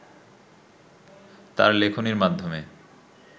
তার লেখনীর মাধ্যমে